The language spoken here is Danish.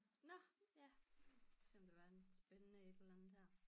Nåh ja så må der være en spændende et eller andet dér